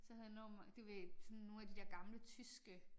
Så havde enormt mange du ved sådan nogle af de der gamle tyske